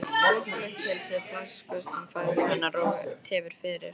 Þungt blautt pilsið flaksast um fætur hennar og tefur fyrir.